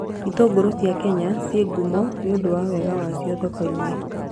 Itũngũrũ cia Kenya ciĩ ngumo nĩ ũndũ wa wega wacio thoko-inĩ